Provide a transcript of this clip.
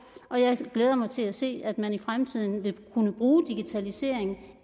og jeg glæder mig til at se at man i fremtiden vil kunne bruge digitaliseringen